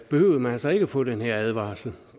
behøver man altså ikke få den her advarsel